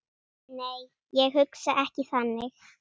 Nei, ég hugsa ekki þannig.